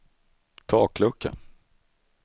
taklucka